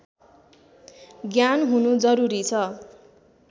ज्ञान हुनु जरुरी छ